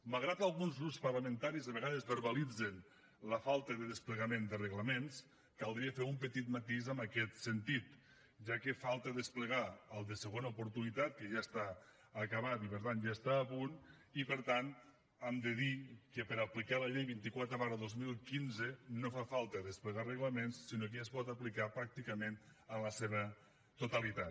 malgrat que alguns grups parlamentaris a vegades verbalitzen la falta de desplegament de reglaments caldria fer un petit matís en aquest sentit ja que falta desplegar el de segona oportunitat que ja està acabat i per tant ja està a punt i per tant hem de dir que per aplicar la llei vint quatre dos mil quinze no fa falta desplegar reglaments sinó que ja es pot aplicar pràcticament en la seva totalitat